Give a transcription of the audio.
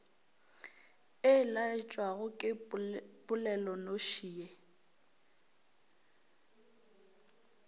e laetšwago ke polelonoši ye